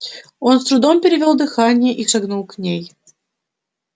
он с трудом перевёл дыхание и шагнул к ней